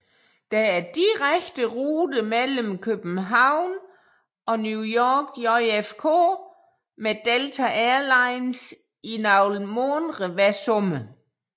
Der er direkte rute mellem København og New York JFK med Delta Airlines i nogle måneder hver sommer